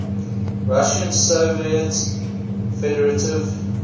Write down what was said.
russian soviet federative